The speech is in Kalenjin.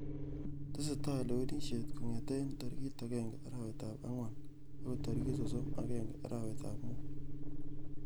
Tesetai lewenisjet kongetkei tarik agenge arawet ab angwan akoi tarik sosm agenge arawet ab mut.